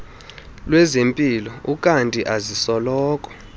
lwezempilo ukanti azisoloko